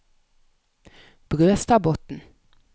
Brøstadbotn